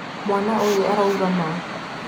Mwana ũyũ arauga ma.